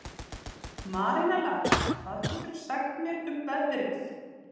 Marinella, hvað geturðu sagt mér um veðrið?